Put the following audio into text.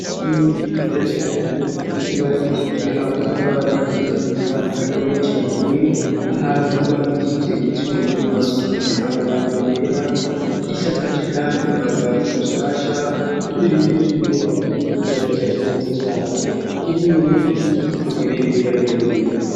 Ishure ryiza cane ryubakishije amatafari aturiye kandi akomeye cane, ahantu hubakishije ivyuma bihasize amarangi yera, risakaje kandi amabati mashasha, imbere y'iryo shure hari ikibuga gishashe neza cane kirimwo n'igiti kiriko ibendera ry'Uburundi.